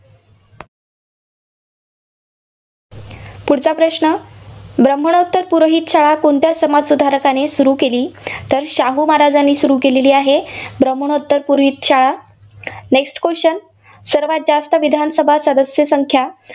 पुढचा प्रश्न आहे, ब्राह्मणोत्तर पुरोहित शाळा कोणत्या समाजसुधारकाने सुरू केली. तर शाहू महाराजांनी सुरू केलेली आहे. ब्राह्मणोत्तर पुरोहित शाळा. next question सर्वांत जास्त विधानसभा सदस्य संख्या